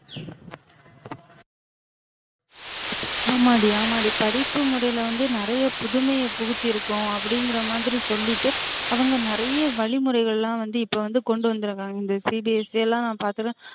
ஆமாடி ஆமாடி படிப்பு முறைல வந்து நிறைய புதுமைய புகுத்திருக்கோம் அப்டிங்கிற மாதிரி சொல்லிட்டு அவுங்க நிறைய வழிமுறைகளெல்லாம் வந்து இப்ப வந்து கொண்டு வந்திருக்காங்க இந்த CBSE லாம் நம்ம பாத்தோம்ல